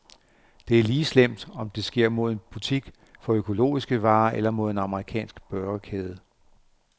Det er lige slemt, om det sker mod en butik for økologiske varer eller mod en amerikansk burgerkæde.